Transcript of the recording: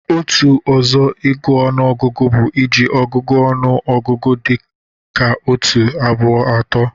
Otu ọzọ ịgụ ọnụọgụgụ bụ iji ọgụgụ ọnụ ọgụgụ dị ka otu, abụọ, atọ